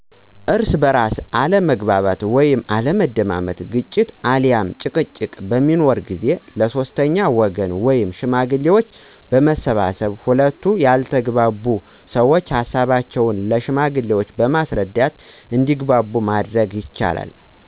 እርስ በእርስ አለመግባባት ወይም አለመደማመጥ ግጭት አልያም ጭቅጭቅ በሚኖር ጊዜ ለ ሶስተኛ ወገን ወይም ሽማግሌዎች በመሰብሰብ ሁለቱ ያልተግባቡ ሰዎች ሀሳቦቻቸውን ለ ሽማግሌዎች በማስረዳት እንዲግባቡ ማድረግ ይቻላል።